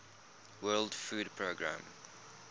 world food programme